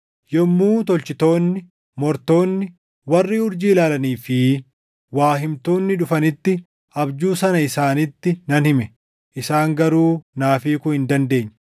Yommuu tolchitoonni, mortoonni, warri urjii ilaalanii fi waa himtoonni dhufanitti abjuu sana isaanitti nan hime; isaan garuu naaf hiikuu hin dandeenye.